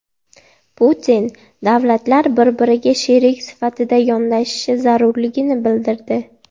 Putin davlatlar bir-biriga sherik sifatida yondashishi zarurligini bildirdi.